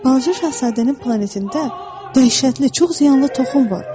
Balaca Şahzadənin planetində dəhşətli çox ziyanlı toxum var.